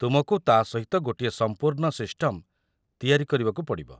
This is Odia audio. ତୁମକୁ ତା' ସହିତ ଗୋଟିଏ ସମ୍ପୂର୍ଣ୍ଣ ସିଷ୍ଟମ୍‌ ତିଆରି କରିବାକୁ ପଡ଼ିବ ।